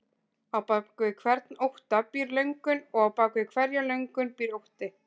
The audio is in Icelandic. Á bak við hvern ótta býr löngun og á bak við hverja löngun býr ótti.